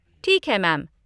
ठीक है मैम।